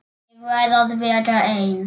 Ég verð að vera ein.